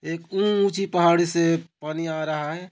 एक ऊँची पहाड़ से पानी आ रहा हैं।